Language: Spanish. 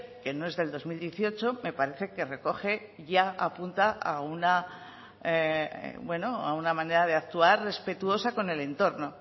que no es del dos mil dieciocho me parece que recoge ya apunta a una manera de actuar respetuosa con el entorno